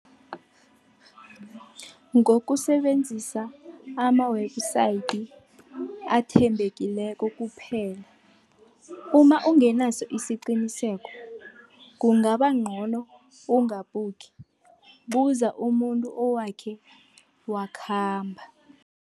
Ngokusebenzisa ama-website athembekileko kuphela, uma ungenaso isiqiniseko kungabancono ungabhukhi, buza umuntu owakhe wakhamba.